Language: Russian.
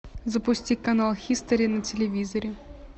запусти канал хистори на телевизоре